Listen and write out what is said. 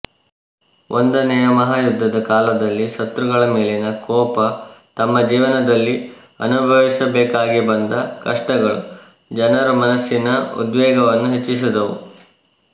ಒಂದನೆಯ ಮಹಾಯುದ್ಧದ ಕಾಲದಲ್ಲಿ ಶತ್ರುಗಳ ಮೇಲಿನ ಕೋಪ ತಮ್ಮ ಜೀವನದಲ್ಲಿ ಅನುಭವಿಸಬೇಕಾಗಿಬಂದ ಕಷ್ಟಗಳು ಜನರು ಮನಸ್ಸಿನ ಉದ್ವೇಗವನ್ನು ಹೆಚ್ಚಿಸಿದುವು